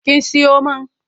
Kin siyo man?